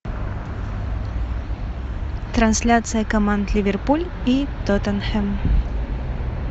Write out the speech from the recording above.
трансляция команд ливерпуль и тоттенхэм